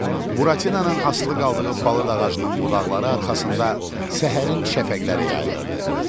Buratinanın asılı qaldığı palıd ağacının budaqları arxasında səhərin şəfəqləri yayılırdı.